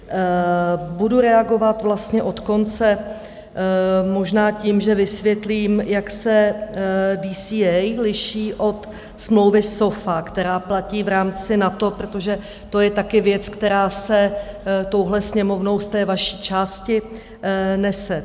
Budu reagovat vlastně od konce, možná tím, že vysvětlím, jak se DCA liší od smlouvy SOFA, která platí v rámci NATO, protože to je taky věc, která se touhle Sněmovnou z té vaší části nese.